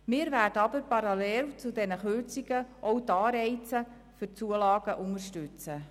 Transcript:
Wir werden aber parallel zu diesen Kürzungen auch die Anreize für die Zulagen unterstützen.